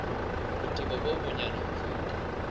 botebo bo bonyane ho feta